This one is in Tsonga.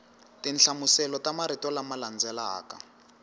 tinhlamuselo ta marito lama landzelaka